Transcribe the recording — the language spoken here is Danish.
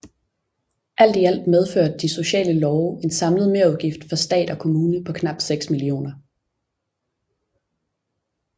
Alt i alt medførte de sociale love en samlet merudgift for stat og kommune på knap 6 millioner